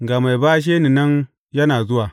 Ga mai bashe ni nan yana zuwa!